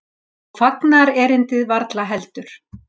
Og fagnaðarerindið varla heldur.